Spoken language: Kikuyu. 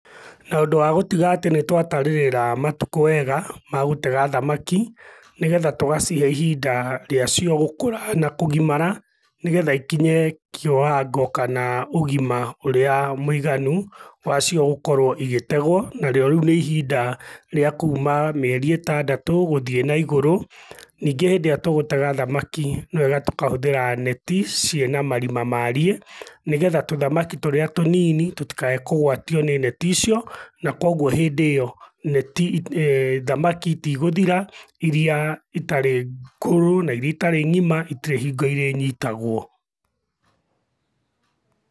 Naũndũ wa gũtiga atĩ nĩtwatarĩrĩra matukũ wega, ma gũtega thamaki, nĩgetha tũgacihe ihinda rĩacio gũkũra na kũgimara, nĩgetha ikinye kĩwango kana ũgima ũrĩa mũiganu, wacio gũkorwo igĩtegũo, narĩo rĩu nĩ ihinda rĩa kuma mĩeri ĩtandatũ gũthiĩ naigũrũ. Ningĩ hĩndĩ ĩrĩa tũgũtega thamaki, nĩwega tũkahũthĩra neti ciĩna marima mariĩ, nĩgetha tũthamaki tũrĩa tũnini tũtikae kũgwatio nĩ neti icio, na kuoguo hĩndĩ ĩyo, neti thamaki itigũthira, iria itarĩ ngũrũ na iria itarĩ ng'ima itirĩ hingo irĩnyitagũo.